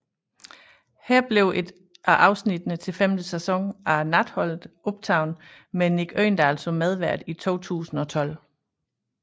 Her blev et afsnittene til femte sæson af Natholdet optaget med Mick Øgendahl som medvært i 2012